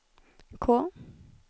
K